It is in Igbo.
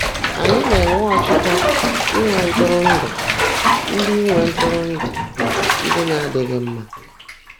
Ànyị́ ná-énwé ọ́chịchọ́ ínwé ntụ́rụ́ńdụ́ ndị́ ínwé ntụ́rụ́ńdụ́ ndị́ ná-ádị́ghị́ mmã?